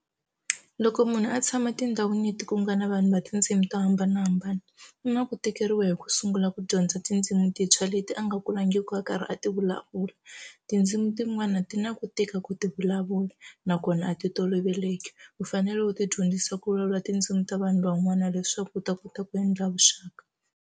Loko munhu a tshama tindhawini leti ku nga na vanhu va tindzimi to hambanahambana ku na ku tikeriwa hi ku sungula ku dyondza tindzimu tintshwa leti a nga kulangiku a karhi a ti vulavula tindzimu tin'wana ti na ku tika ku ti vulavula nakona a ti toloveleki u fanele u ti dyondzisa ku vulavula tindzimu ta vanhu van'wana leswaku u ta kota ku endla vuxaka.